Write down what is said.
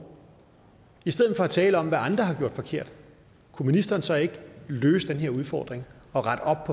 i stedet for at tale om hvad andre har gjort forkert kunne ministeren så ikke løse den her udfordring og rette op